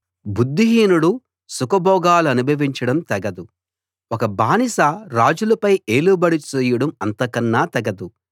బుద్ధిహీనుడు సుఖ భోగాలనుభవించడం తగదు ఒక బానిస రాజులపై ఏలుబడి చేయడం అంతకన్నా తగదు